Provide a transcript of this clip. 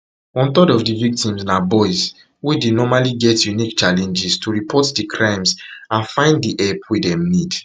one third of di victims na boys wey dey normally get unique challenges to report di crimes and find find di help wey dem need